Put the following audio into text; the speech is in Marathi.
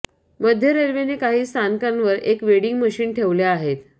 मध्य रेल्वेने काही स्थानकांवर एक वेडिंग मशीन ठेवल्या आहेत